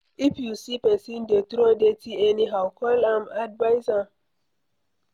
If you see pesin dey throw dirty anyhow, call am advise am